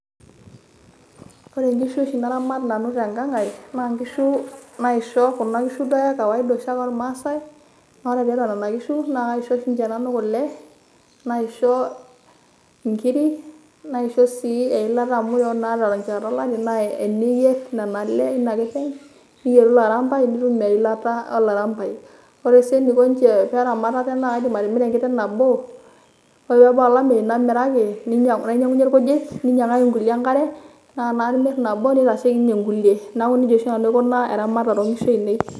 Ore nkishu oshi naramat nanu tenkang' ai, na nkishu naisho kuna kishu duo oshiake ekawaida oshiake ormaasai. Na ore tiatua nena kishu, na kaisho oshi nanu kule, naisho inkiri, naisho si eilata amu ore naa terishata olari, na teniyier nena ale inakiteng',niyieru ilarampai itum eilata olarampai. Ore si eniko nche peramat ate na kaidim atimira enkiteng' nabo, ore pebau olameyu namiraki, nainyang'unye irkujit, ninyang'aki nkulie enkare. Na ore imir nabo neitasheki nye nkulie. Neeku nejia oshi nanu aikunaa eramatare onkishu ainei.